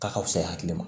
K'a ka fisa i hakili ma